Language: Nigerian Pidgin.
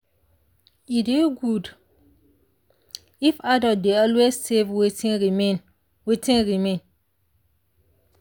e dey good if adult dey always save wetin remain. wetin remain.